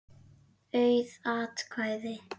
Auð atkvæði